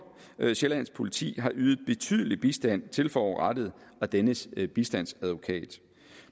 nordsjællands politi har ydet betydelig bistand til forurettede og dennes bistandsadvokat